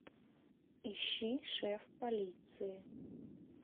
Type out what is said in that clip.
ищи шеф полиции